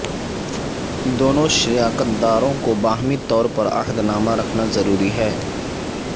دونوں شراکت داروں کو باہمی طور پر عہد نامہ رکھنا ضروری ہے